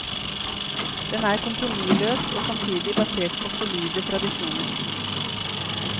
Den er kompromissløs og samtidig basert på solide tradisjoner.